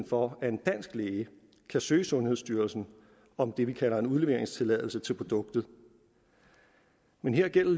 for at en dansk læge kan søge sundhedsstyrelsen om det vi kalder en udleveringstilladelse til produktet men her gælder